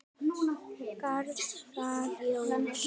Garðar Jónsson